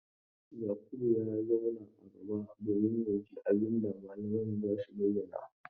Yakubu ya zauna a gaba domin ya ji abin da mallaman za su bayyana.